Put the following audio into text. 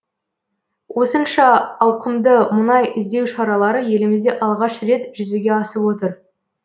осынша ауқымды мұнай іздеу шаралары елімізде алғаш рет жүзеге асып отыр